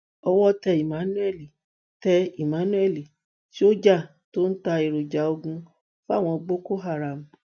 owó tẹ emmanuel tẹ emmanuel sójà tó ń ta èròjà ogun fáwọn boko haram